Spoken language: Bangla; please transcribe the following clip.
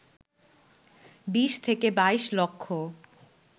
২০ থেকে ২২ লক্ষ